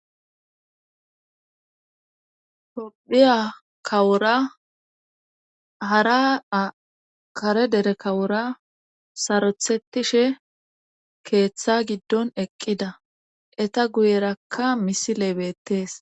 Hodhiya kawura hara akare dere kawura sarothetishe keeththa giddon eqqida eta guyerakka misile beettees.